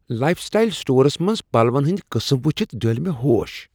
Life style stores منز پلون ہندۍ قسٕم وٕچھتھ ڈٔلۍ مےٚ ہوش۔